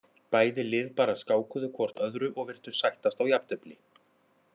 Bæði lið bara skákuðu hvort öðru og virtust sættast á jafntefli.